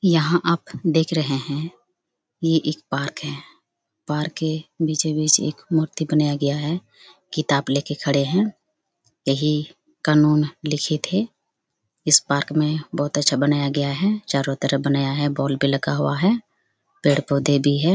यहाँ आप देख रहे है ये एक पार्क है पार्क के बीचो बीच एक मूर्ति बनाया गया है किताब लेके खड़े है यही कानून लिखित है इस पार्क में बहोत अच्छा बनाया गया है चारो तरफ बनाया गया है बॉल पे लगा हुआ है पेड़-पोधे भी है ।